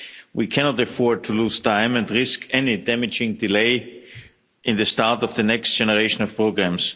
We cannot afford to lose time and risk any damaging delay in the start of the next generation of programmes.